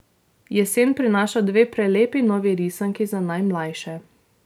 Jesen prinaša dve prelepi novi risanki za najmlajše.